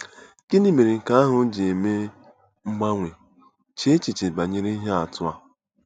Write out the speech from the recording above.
Gịnị mere nke ahụ ji eme mgbanwe? Chee echiche banyere ihe atụ a.